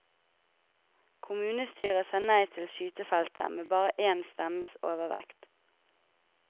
Kommunestyret sa nei til skytefeltet med bare én stemmes overvekt.